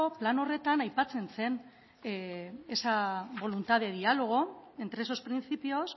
plan horretan aipatzen zen esa voluntad de diálogo entre esos principios